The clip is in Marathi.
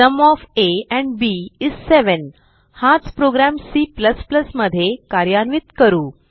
sum of a and b is 7 हाच प्रोग्रॅम C मध्ये कार्यान्वित करू